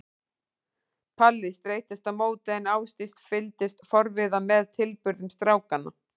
Palli streittist á móti en Ásdís fylgdist forviða með tilburðum strákanna.